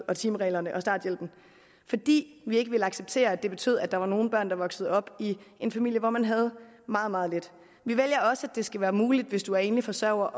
og timereglerne og starthjælpen fordi vi ikke ville acceptere at det betød at der var nogle børn der voksede op i en familie hvor man havde meget meget lidt vi vælger også at det skal være muligt hvis du er enlig forsørger